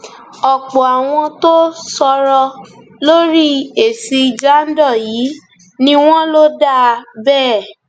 ọpọ àwọn tó sọrọ lórí èsì jandor yìí ni wọn lò dáa bẹẹ